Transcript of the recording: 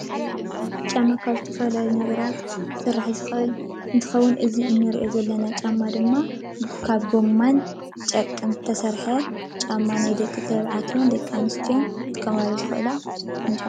ጫማ ካብ ዝተፈላለዩ ነገራት ክስራሕ ዝክእል እንትከውን እዚ እንሪኦ ዘለና ጫማ ድማ ካብ ጎማን ካብ ጨርቅን ዝተሰረሐ ጫማ ናይ ደቂ ተባዕትዮን ደቂ ኣንስትዮን ክጥቀሙሉ ዝክእሉ ድፉን ጫማ እዩ።